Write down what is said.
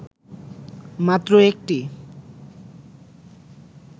মাত্র ১টি